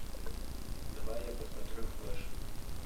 давай я посмотрю флэш